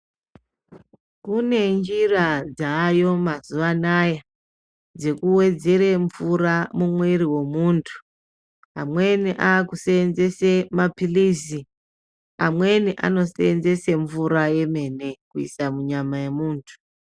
Kune njira dzayo mazuwa anaya dzekuwedzere mvura mumwiri wemuntu amweni akusenzese mapilizi amweni akusenzese mvura yemene kuise munyama yemuntu.